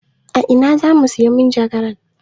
A ina zamu sayi majagaran?